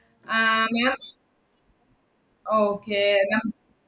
ആഹ് ma'am okay നം~